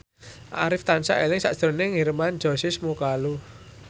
Arif tansah eling sakjroning Hermann Josis Mokalu